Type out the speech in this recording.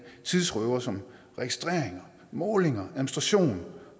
tidsrøvere som registreringer målinger administration